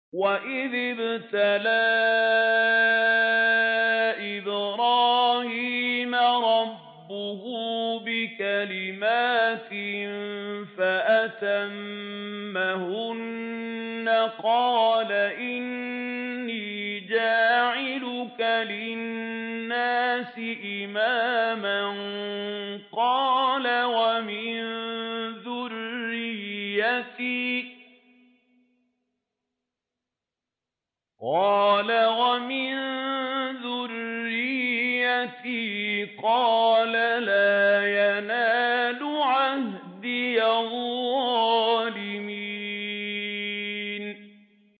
۞ وَإِذِ ابْتَلَىٰ إِبْرَاهِيمَ رَبُّهُ بِكَلِمَاتٍ فَأَتَمَّهُنَّ ۖ قَالَ إِنِّي جَاعِلُكَ لِلنَّاسِ إِمَامًا ۖ قَالَ وَمِن ذُرِّيَّتِي ۖ قَالَ لَا يَنَالُ عَهْدِي الظَّالِمِينَ